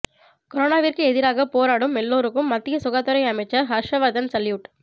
கொரோனாவிற்கு எதிராக போராடும் எல்லோருக்கும் மத்திய சுகாதாரத்துறை அமைச்சர் ஹர்ஷவர்தன் சல்யூட்